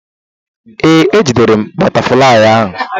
Ee, ejidere m bụtaflịyị ahụ.